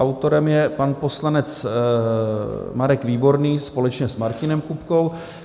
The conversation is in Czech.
Autorem je pan poslanec Marek Výborný společně s Martinem Kupkou.